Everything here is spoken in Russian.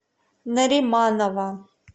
нариманова